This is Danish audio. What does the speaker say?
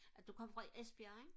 du kom fra Esbjerg ikke